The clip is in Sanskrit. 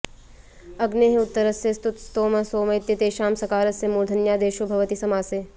अग्नेः उत्तरस्य स्तुत् स्तोम सोम इत्येतेषां सकारस्य मूर्धन्यादेशो भवति समासे